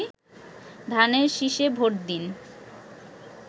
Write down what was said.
ধানের শিষে ভোট দিন